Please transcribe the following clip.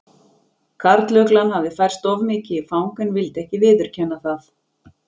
Karluglan hafði færst of mikið í fang en vildi ekki viðurkenna það.